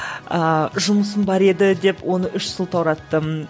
ыыы жұмысым бар еді деп оны үш сылтаураттым